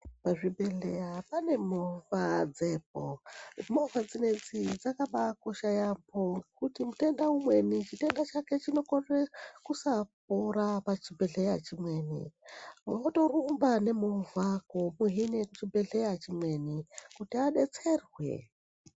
Pazvibhedhleya pane movha dzepo. Movha dzinedzi dzakabaakosha yaampho, kuti mutenda umweni chitenda chake chinokorere kusapora pachibhedhleya chimweni, votorumba nemovha komuhine chibhedhleya chimweni, kuti adetserwe.